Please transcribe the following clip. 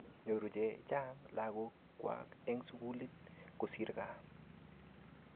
Nyoru che chang' lagok kwak eng' sukul kosir kaa.